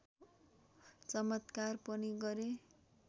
चमत्कार पनि गरे